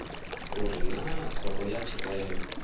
uri naa khoro ya tshirema